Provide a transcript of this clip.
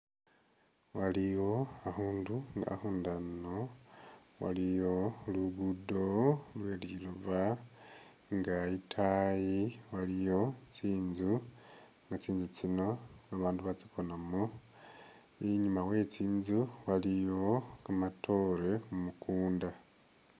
Waliyo akhundu nga akhundu ano waliyo lugudo luliba inga itayi waliyo tsinzu nga tsintsu tsino babaandu batsikonamo inyuma we tsintsu waliyo kamatore mukuunda